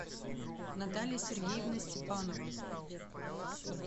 наталья сергеевна степанова